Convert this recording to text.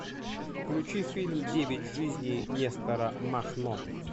включи фильм девять жизней нестора махно